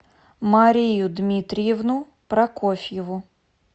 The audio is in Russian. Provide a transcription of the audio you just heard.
марию дмитриевну прокофьеву